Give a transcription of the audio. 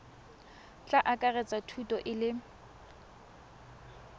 tla akaretsa thuto e le